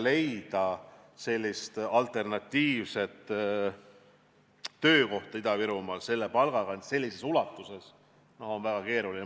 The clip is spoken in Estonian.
Leida alternatiivset töökohta sellise palgaga on Ida-Virumaal väga keeruline.